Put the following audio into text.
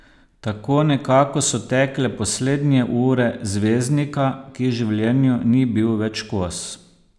Tako nekako so tekle poslednje ure zvezdnika, ki življenju ni bil več kos.